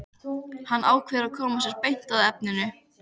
Hann ákveður að koma sér beint að efninu.